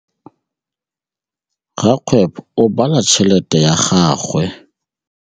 Rakgwêbô o bala tšheletê ya gagwe.